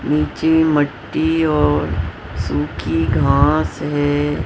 नीचे मट्टी और सूखी घास है।